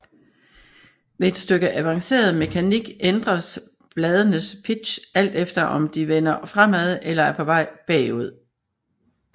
Ved et stykke avanceret mekanik ændres bladenes pitch alt efter om de vender fremad eller er på vej bagud